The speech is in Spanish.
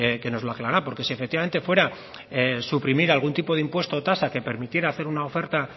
que nos lo aclarará porque si efectivamente fuera suprimir algún tipo de impuesto o tasa que permitiera hacer una oferta